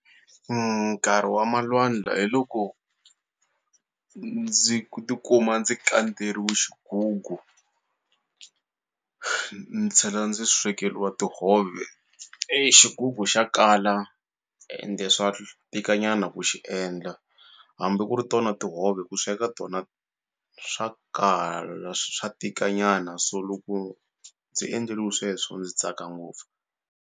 nkarhi wa malwandla hi loko ndzi ku tikuma ndzi kandzerile xigugu ni tshela ndzi swekeliwa tihove exigugu xa kala ende swa tika nyana ku xi endla hambi ku ri tona tihove ku sweka tona swa kala swa tika nyana so loko ndzi endleliwe sweswo ndzi tsaka ngopfu.